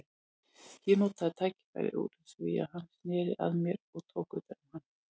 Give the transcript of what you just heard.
Ég notaði tækifærið úr því hann sneri að mér og tók utan um hann.